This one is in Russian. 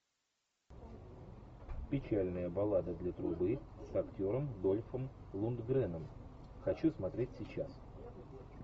печальная баллада для трубы с актером дольфом лундгреном хочу смотреть сейчас